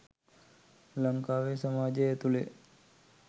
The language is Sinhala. ලංකාවේ සමාජය ඇතුළේ.